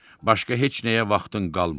Başqa heç nəyə vaxtın qalmır.